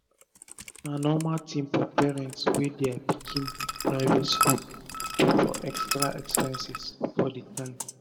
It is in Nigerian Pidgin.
na norma tin for parent wey dia pikin dey private skul to for extra expenses for d term